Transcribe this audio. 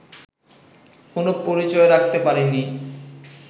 কোনো পরিচয় রাখতে পারেনি